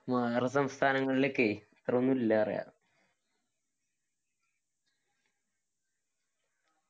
വേറെ സംസ്ഥാനങ്ങളിലൊക്കെ ഇത്ര ഒന്നും ഇല്ലാറിയ